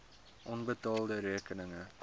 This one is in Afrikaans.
onbetaalde rekeninge